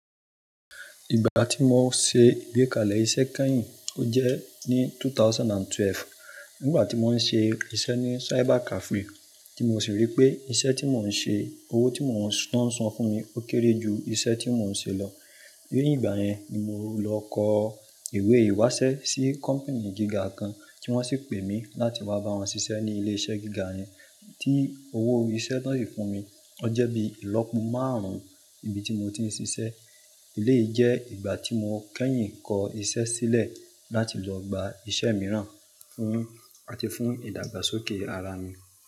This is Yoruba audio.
Ìgbà tí mo ṣe ìgbékalẹ̀ iṣẹ́ kányìn, ó jẹ́ ní 2012. Nígbà tí mo ń ṣe iṣẹ́ ní Cyber Cafe tí mo sì rí pé iṣẹ́ tí mò ń ṣe, owó tí wọ́n ń san fún mi ó kéré ju iṣẹ́ tí mò ń ṣe lọ. Ní igbà yẹn ni mo lọ kọ ìwé ìwásẹ́ sí company gíga kan tí wọ́n sì pè mí láti wá bá wọn ṣiṣẹ́ ní ilé-iṣẹ́ gíga yẹn, tí owó iṣẹ́ tí wọ́n ṣì fún mi ọ jẹ́ bí ìlọ́po márùn-ún ibi tí mo ti ń ṣiṣẹ́. Eleyi je igba ti mo keyin ko ise sile lati lo gba ise miiran fun ati fun idagbaskoke ara mi.